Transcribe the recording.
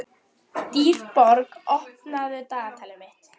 Sá sem átti góða skó var ríkur.